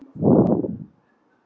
Næsta morgun var komin þoka.